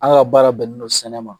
An ka baara bɛnnen don sɛnɛ ma.